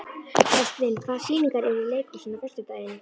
Ástvin, hvaða sýningar eru í leikhúsinu á föstudaginn?